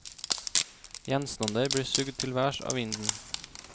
Gjenstander blir sugd til værs av vinden.